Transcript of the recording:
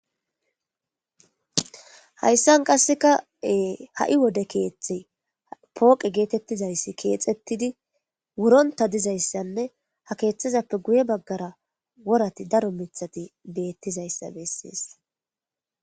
hayssan qasseka ha7i wode keeththi pooqe geetettizayssi keexettidi wuronta dizayssanne ha keeththazappe guye baggara worati daro mithati beettizayssa bessees